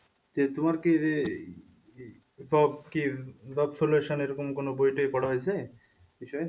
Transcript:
তোমার কি যে এরকম কোন বই টয় পড়া হয়েছে? বিষয়ে